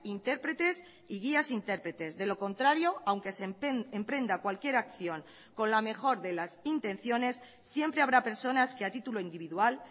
intérpretes y guías intérpretes de lo contrario aunque se emprenda cualquier acción con la mejor de las intenciones siempre habrá personas que a título individual